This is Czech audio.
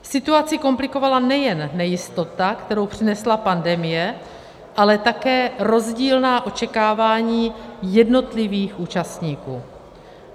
Situaci komplikovala nejen nejistota, kterou přinesla pandemie, ale také rozdílná očekávání jednotlivých účastníků.